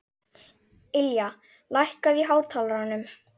Ylja, lækkaðu í hátalaranum.